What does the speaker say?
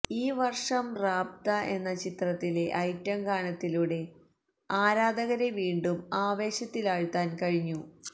ഈ വർഷം റാബ്ത എന്ന ചിത്രത്തിലെ ഐറ്റം ഗാനത്തിലൂടെ ആരാധകരെ വീണ്ടും ആവേശത്തിലാഴ്ത്താൻ കഴിഞ്ഞു